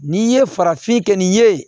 N'i ye farafin kɛ nin ye